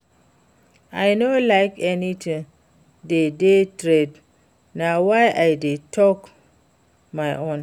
I no like anything wey dey trend na why I dey talk my own